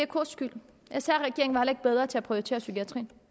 ks skyld sr regeringen var heller ikke bedre til at prioritere psykiatrien